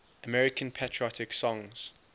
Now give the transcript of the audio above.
american patriotic songs